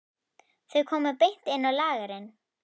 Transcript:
Þau komu beint inn á lagerinn.